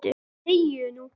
ÞEGIÐU NÚ!